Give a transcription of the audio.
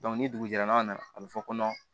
ni dugujɛ n'a nana a bɛ fɔ ko